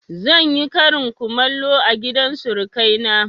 Zan yi karin kumallo a gidan surukai na